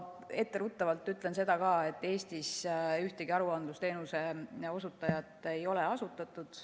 Etteruttavalt ütlen seda, et Eestis ühtegi aruandlusteenuse osutajat ei ole asutatud.